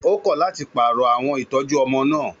Ó kọ̀ láti pààrọ̀ àwọn ìtọ́jú ọmọ náà.